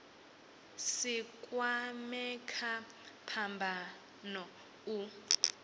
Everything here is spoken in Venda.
si kwamee kha phambano u